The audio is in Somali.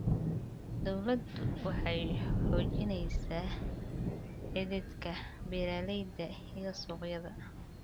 Dawladdu waxay xoojinaysaa xidhiidhka beeralayda iyo suuqyada.